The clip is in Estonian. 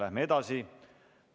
Läheme edasi.